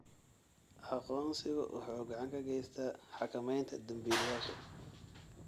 Aqoonsigu waxa uu gacan ka geystaa xakamaynta dembiilayaasha.